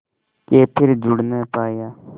के फिर जुड़ ना पाया